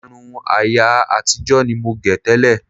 Irun ayé àtijọ́ ni mo gẹ̀ tẹ́lẹ̀